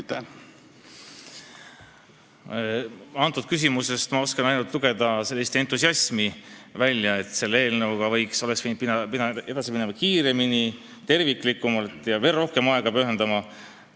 Sellest küsimusest ma oskan välja lugeda ainult entusiasmi, et eelnõuga oleks pidanud edasi minema kiiremini, terviklikumalt ja veel rohkem aega sellele pühendama.